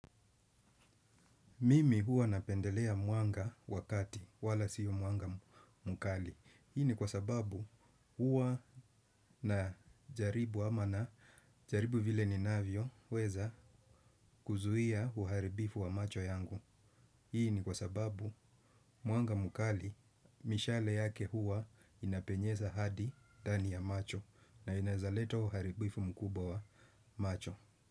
Mimi huwa napendelea mwanga wakati wala siyo mwanga mkali. Hii ni kwa sababu huwa najaribu ama najaribu vile ninavyo weza kuzuhia uharibifu wa macho yangu. Hii ni kwa sababu muanga mkali mishale yake huwa inapenyeza hadi ndani ya macho na inaezaleta uharibifu mkubwa wa macho.